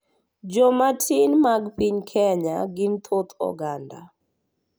Jomatin mag piny Kenya gin thoth oganda,